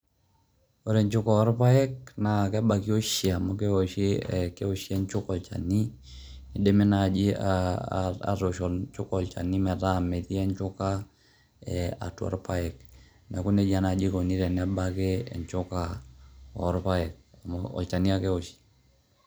Ore enchuka orpaek, na kebaki oshi amu kewoshi irpaek olchani, kidimi naji atoosh enchuka olchani metaa metii enchuka eh atua irpaek. Neeku nejia nai ikoni tenebaki enchuka orpaek, amu olchani ake ewoshi.